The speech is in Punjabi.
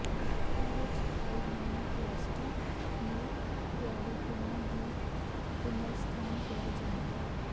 ਲੋਕਾਂ ਵਿੱਚ ਹਾਈਮਾਨੋਪਲਾਸਟੀ ਨੂੰ ਕੁਆਰੀਪੁਣਾ ਦੀ ਪੁਨਰਸਥਾਨ ਕਿਹਾ ਜਾਂਦਾ ਹੈ